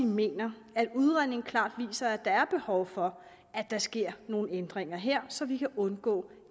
mener at udredningen klart viser at der er behov for at der sker nogle ændringer her så vi kan undgå